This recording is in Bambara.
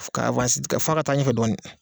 Fɔ ka fɔ a ka taa ɲɛfɛ dɔnɔnin.